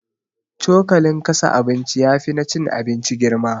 Cokalin kasa abinci yafi na cin abinci girma